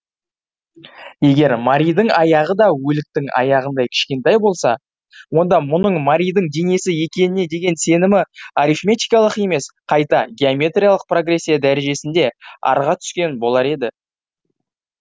егер маридің аяғы да өліктің аяғындай кішкентай болса онда мұның маридің денесі екеніне деген сенімі арифметикалық емес қайта геометриялық прогрессия дәрежесінде арға түскен болар еді